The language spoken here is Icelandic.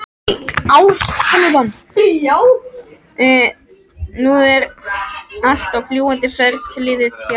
Nú allt er á fljúgandi ferð liðið hjá